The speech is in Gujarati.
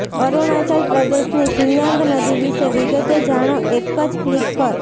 અરુણાચલ પ્રદેશની સિયાંગ નદી વિશે વિગતે જાણો એક જ ક્લિક પર